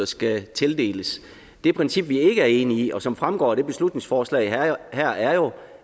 skal tildeles det princip vi ikke er enige i og som fremgår af det beslutningsforslag her er jo